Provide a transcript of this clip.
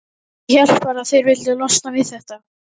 Ég hélt bara að þeir vildu losna við þetta.